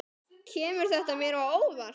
Kemur þetta mér á óvart?